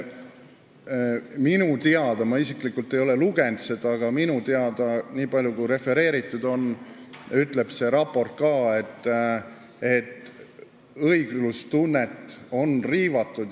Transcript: Minu teada – ma isiklikult ei ole seda lugenud, aga seda on refereeritud – ütleb see raport ka, et õiglustunnet on riivatud.